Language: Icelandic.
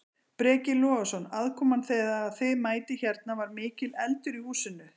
Breki Logason: Aðkoman þegar að þið mætið hérna, var mikill eldur í húsinu?